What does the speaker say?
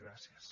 gràcies